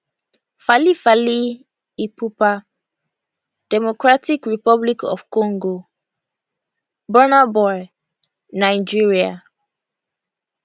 fally fally ipupa democratic republic of congo burna boy nigeria